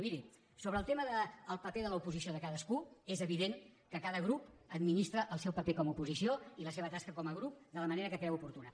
i miri sobre el tema del paper de l’oposició de cadascú és evident que cada grup administra el seu paper com a oposició i la seva tasca com a grup de la manera que creu oportuna